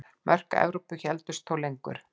Mörk Evrópu héldust þó lengur.